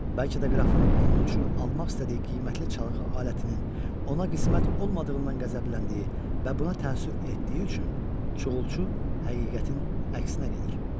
Bəlkə də qrafın onun üçün almaq istədiyi qiymətli çalgı alətinin ona qismət olmadığından qəzəbləndiyi və buna təəssüf etdiyi üçün Çuğulçu həqiqətin əksinə gedir.